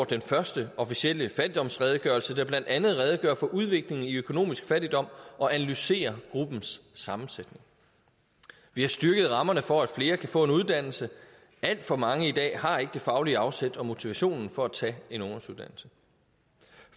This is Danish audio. den første officielle fattigdomsredegørelse der blandt andet redegør for udviklingen i økonomisk fattigdom og analyserer gruppens sammensætning vi har styrket rammerne for at flere kan få en uddannelse alt for mange i dag har ikke det faglige afsæt og motivationen for at tage en ungdomsuddannelse